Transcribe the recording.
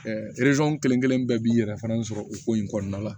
kelen kelen bɛɛ b'i yɛrɛ fana sɔrɔ o ko in kɔnɔna la